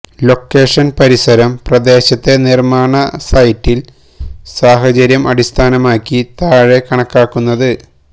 location പരിസരം പ്രദേശത്തെ നിർമാണ സൈറ്റിൽ സാഹചര്യം അടിസ്ഥാനമാക്കി താഴെ കണക്കാക്കുന്നത്